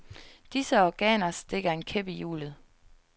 Disse organer stikker en kæp i hjulet.